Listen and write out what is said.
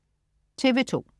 TV2: